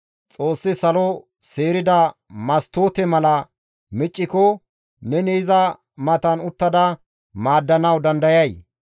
Xoossi salo seerida mastoote mala micciko, neni iza matan uttada maaddanawu dandayay?